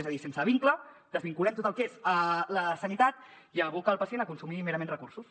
és a dir sense vincle desvinculem tot el que és la sanitat i aboca el pacient a consumir merament recursos